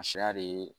A sariya de ye